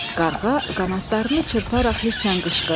Qarğa qanadlarını çırparaq hisslə qışqırdı.